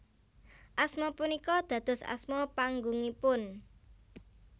Asma punika dados asma panggungipun